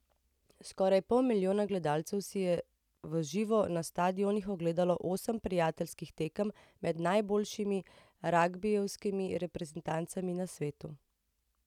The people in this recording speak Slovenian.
Skoraj pol milijona gledalcev si je v živo na stadionih ogledalo osem prijateljskih tekem med najboljšimi ragbijevskimi reprezentancami na svetu.